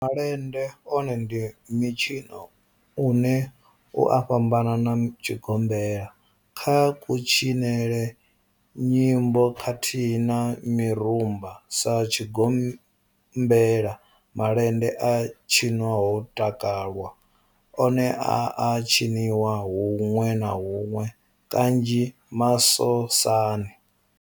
Malende one ndi mitshino une u a fhambana na tshigombela kha kutshinele, nyimbo khathihi na mirumba. Sa tshigombela, malende a tshinwa ho takalwa, one a a tshiniwa hunwe na hunwe kanzhi masosani.